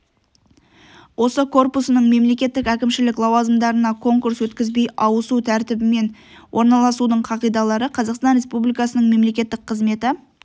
осы корпусының мемлекеттік әкімшілік лауазымдарына конкурс өткізбей ауысу тәртібімен орналасудың қағидалары қазақстан республикасының мемлекеттік қызметі